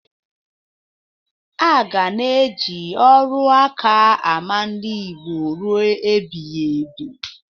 Aga na-eji ọrụ nka ama ndị Igbo ruo ebighibi.